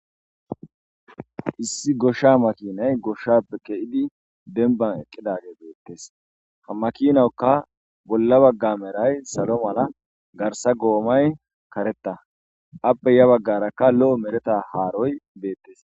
issi goshsha makinay goshshappe ke7idi denban eqqidage beettes hamakinawkka bolla bagga meray salo mala garsa goomay karetta appe ya baggarakka lo7o mereta haaroy beettes